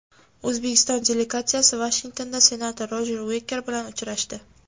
O‘zbekiston delegatsiyasi Vashingtonda senator Rojer Uiker bilan uchrashdi.